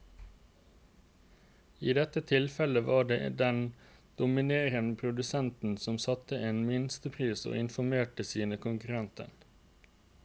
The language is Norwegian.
I dette tilfellet var det den dominerende produsenten som satte en minstepris og informerte sine konkurrenter.